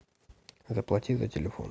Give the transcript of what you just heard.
заплати за телефон